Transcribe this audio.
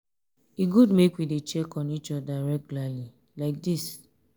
e good make we dey check on each oda regularly like dis.